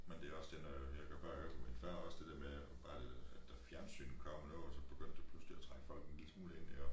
Men det også det når jeg kan bare huske min far også det dér med at bare at da fjernsynet kom og noget så begyndte det pludselig at trække folk en lille smule ind iggå